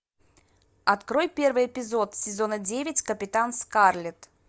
открой первый эпизод сезона девять капитан скарлет